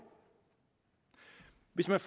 hvis man